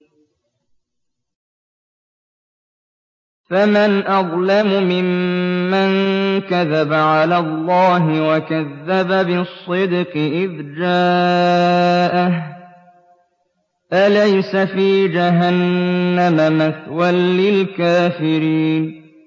۞ فَمَنْ أَظْلَمُ مِمَّن كَذَبَ عَلَى اللَّهِ وَكَذَّبَ بِالصِّدْقِ إِذْ جَاءَهُ ۚ أَلَيْسَ فِي جَهَنَّمَ مَثْوًى لِّلْكَافِرِينَ